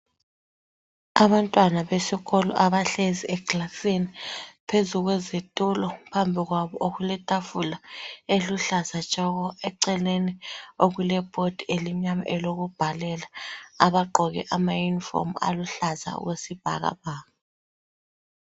Abantwana besikolo abahlezi ekilasini phezu kwezitulo phambi kwabo okuletafula eliluhlaza tshoko, eceleni okulebhodi elimnyama elokubhalela abagqoke emayunifomu aluhlaza okwesibhakabhaka.